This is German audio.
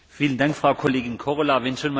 Vielen Dank, Frau Kollegin Korhola.